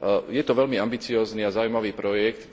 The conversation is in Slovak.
Je to veľmi ambiciózny a zaujímavý projekt.